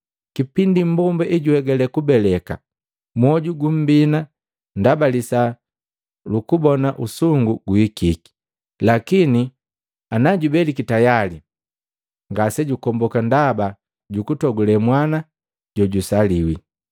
Kipindi mmbomba ejuegale kubeleka mwoju gumbina ndaba lisaa lukubona usungu guhikiki. Lakini najubeliki tayali ngasejukomboka ndaba jukutogule mwana na jusaliwi.